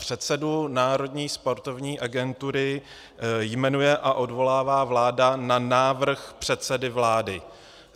Předsedu Národní sportovní agentury jmenuje a odvolává vláda na návrh předsedy vlády.